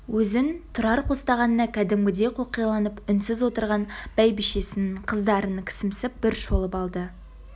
өзін тұрар қостағанына кәдімгідей қоқиланып үнсіз отырған бәйбішесін қыздарын кісімсіп бір шолып алды